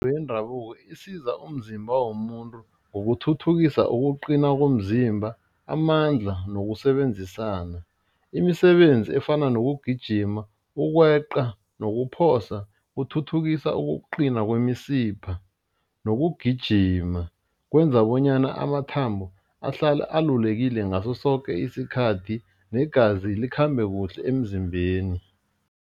yendabuko isiza umzimba womuntu ngokuthuthukisa ukuqina komzimba, amandla nokusebenzisana, imisebenzi efana nokugijima ukweqa nakuphosa kuthuthukisa ukuqina kwemisipha nokugijima kwenza bonyana amathambo ahlale alalulekile ngaso soke isikhathi negazi likhambe kuhle emzimbeni.